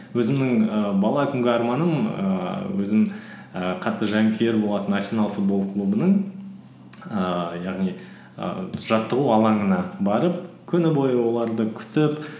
өзімнің і бала күнгі арманым ііі өзім і қатты жанкүйер болатын арсенал футбол клубының ііі яғни і жаттығу алаңына барып күні бойы оларды күтіп